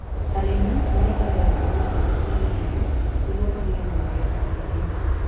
Arĩmi mahũthagĩra mbegũ njega cia marigũ nĩguo magĩe magetha maingĩ